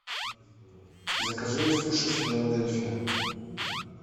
закажи суши филадельфия